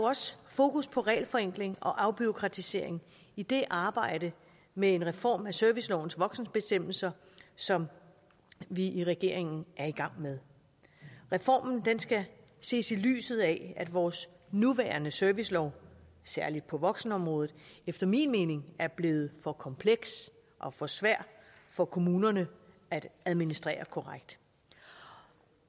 også fokus på regelforenkling og afbureaukratisering i det arbejde med en reform af servicelovens voksenbestemmelser som vi i regeringen er i gang med reformen skal ses i lyset af at vores nuværende servicelov særlig på voksenområdet efter min mening er blevet for kompleks og for svær for kommunerne at administrere korrekt